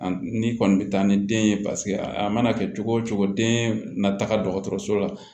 An ni kɔni bɛ taa ni den ye paseke a mana kɛ cogo o cogo den na taga dɔgɔtɔrɔso la